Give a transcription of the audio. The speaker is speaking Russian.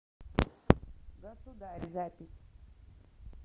государъ запись